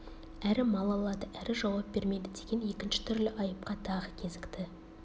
әрі мал алады әрі жауап бермейді деген екінші түрлі айыпқа тағы кезікті